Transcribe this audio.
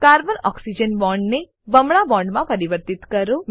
carbon oxygen બોન્ડને બમણા બોન્ડમાં પરિવર્તિત કરો